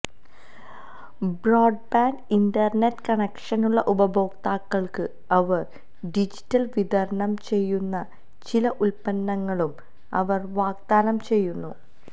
broadband internet കണക്ഷനുള്ള ഉപഭോക്താക്കൾക്ക് അവർ ഡിജിറ്റൽ വിതരണം ചെയ്യുന്ന ചില ഉൽപ്പന്നങ്ങളും അവർ വാഗ്ദാനം ചെയ്യുന്നു